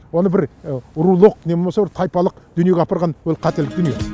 оны бір рулық не болмаса бір тайпалық дүниеге апарған ол қателік дүние